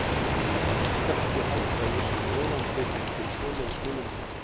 Þú skalt ekki halda að ég sé ofantekinn fyrir svoleiðis minnimáttarkennd.